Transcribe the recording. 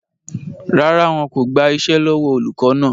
Rárá, wọn kò gbà iṣẹ́ lọ́wọ́ olùkọ́ náà